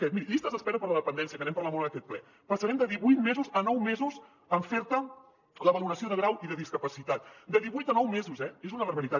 miri llistes d’espera per a la dependència que n’hem parlat molt en aquest ple passarem de divuit mesos a nou mesos en fer te la valoració de grau de discapacitat de divuit a nou mesos eh és una barbaritat